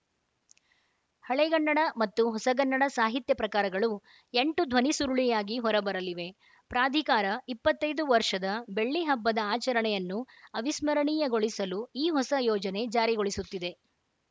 ಹಳೆಗನ್ನಡ ಮತ್ತು ಹೊಸಗನ್ನಡ ಸಾಹಿತ್ಯ ಪ್ರಕಾರಗಳು ಎಂಟು ಧ್ವನಿಸುರುಳಿಯಾಗಿ ಹೊರಬರಲಿವೆ ಪ್ರಾಧಿಕಾರ ಇಪ್ಪತ್ತ್ ಐದು ವರ್ಷದ ಬೆಳ್ಳಿಹಬ್ಬದ ಆಚರಣೆಯನ್ನು ಅವಿಸ್ಮರಣೀಯಗೊಳಿಸಲು ಈ ಹೊಸ ಯೋಜನೆ ಜಾರಿಗೊಳಿಸುತ್ತಿದೆ